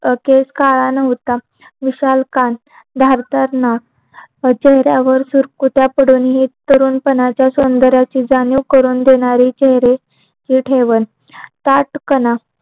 केश काला नाव्होता विशालकाय धारदार नाक चेहऱ्यावर सुरकुत्या पडून हि तरुण पणाचा सोंदर्य अशी जाणीव करून देणारी चेहरे ते ठेवणं